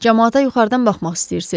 Camaata yuxarıdan baxmaq istəyirsiz?